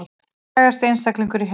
Hver er frægasti einstaklingur í heimi